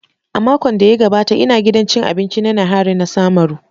A makon da ya gabata ina gidan cin abinci na Nihari na samaru.